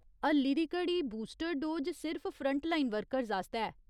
हल्ली दी घड़ी बूस्टर डोज सिर्फ फ्रंटलाइन वर्कर्स आस्तै ऐ।